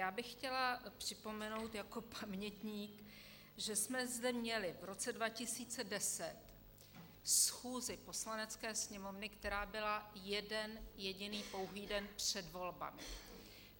Já bych chtěla připomenout jako pamětník, že jsme zde měli v roce 2010 schůzi Poslanecké sněmovny, která byla jeden jediný pouhý den před volbami.